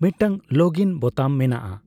ᱢᱤᱫᱴᱟᱝ login button ᱢᱮᱱᱟᱜᱼᱟ ᱾